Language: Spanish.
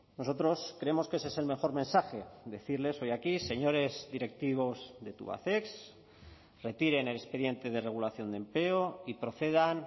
nosotros creemos que ese es el mejor mensaje decirles hoy aquí señores directivos de tubacex retiren el expediente de regulación de empleo y procedan